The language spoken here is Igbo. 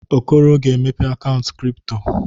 Okoro ga-emepe akaụntụ kripto.